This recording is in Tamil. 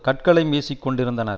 கற்களையும் வீசி கொண்டிருந்தனர்